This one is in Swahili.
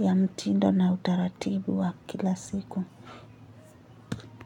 ya mtindo na utaratibu wa kila siku.